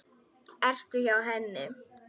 Ertu hjá henni?